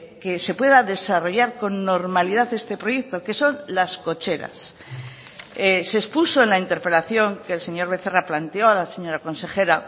que se pueda desarrollar con normalidad este proyecto que son las cocheras se expuso en la interpelación que el señor becerra planteó a la señora consejera